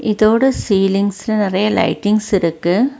இதோட சீலிங்ஸ்ல நறைய லைட்டிங்ஸ் இருக்கு.